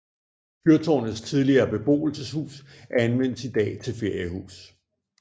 Fyrtårnets tidligere beboelseshus anvendes i dag til feriehus